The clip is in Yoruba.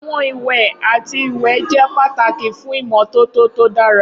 Awọn iwẹ ati iwẹ jẹ pataki fun imototo to dara.